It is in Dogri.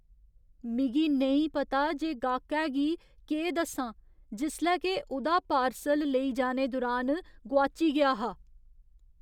मिगी नेईं पता जे गाह्‌कै गी केह् दस्सां जिसलै के उ'दा पार्सल लेई जाने दुरान गोआची गेआ हा।